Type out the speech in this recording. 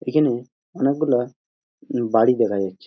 এখানে অনেকগুলো বাড়ি দেখা যাচ্ছে।